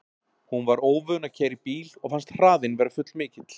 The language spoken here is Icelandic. Hún var óvön að keyra í bíl og fannst hraðinn vera full mikill.